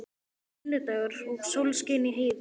Það var sunnudagur og sól skein í heiði.